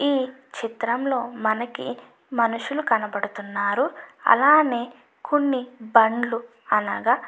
ఈ చిత్రం లో మనకి మనుషులు కనబడుతున్నారు అలానే కొన్ని బండ్లు అనగా --